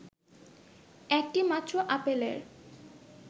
একটি মাত্র আপেলের